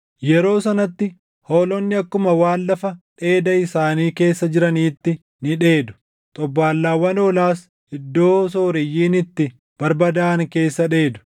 Yeroo sanatti hoolonni akkuma waan // lafa dheeda isaanii keessa jiraniitti ni dheedu; xobbaallaawwan hoolaas iddoo sooreyyiin itti barbadaaʼan keessa dheedu.